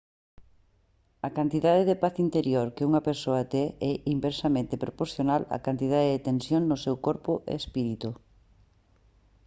a cantidade de paz interior que unha persoa ten é inversamente proporcional á cantidade de tensión no seu corpo e espírito